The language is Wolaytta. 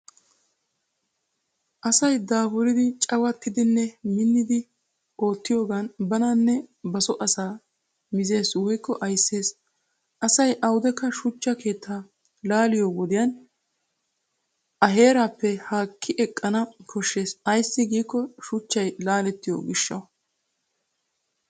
Asa daafuridi, cawattidinne minnidi oottiyoogan bananne ba so asaa mizes woykko ayisses. Asay awudekka shuchcha keettaa laaliyo wodiyan a heerappe haaqqi eqqana koshshes ayssi giikko shuchchay laalettiyo gishshawu.